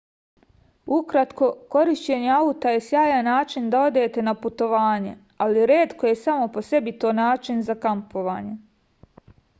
ukratko korišćenje auta je sjajan način da odete na putovanje ali retko je samo po sebi to način za kampovanje